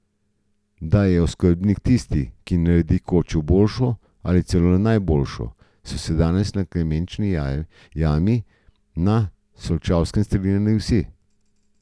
Da je oskrbnik tisti, ki naredi kočo boljšo, ali celo najboljšo, so se danes na Klemenči jami na Solčavskem strinjali vsi.